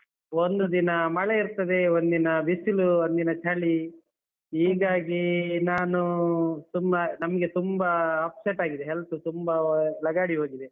ಒಂದು ದಿನ ಮಳೆ ಇರ್ತದೆ, ಒಂದಿನ ಬಿಸಿಲು ಒಂದಿನ ಚಳಿ. ಹೀಗಾಗಿ ನಾನು ತುಂಬ ನಮ್ಗೆ ತುಂಬಾ upset ಆಗಿದೆ health ತುಂಬಾ ಲಗಾಡಿ ಹೋಗಿದೆ.